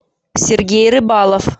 сергей рыбалов